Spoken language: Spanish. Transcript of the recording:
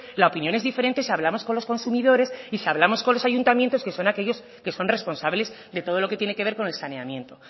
la opinión es diferente si hablamos con los consumidores y si hablamos con los ayuntamientos que son aquellos que son responsables de todo lo que tiene que ver con el saneamiento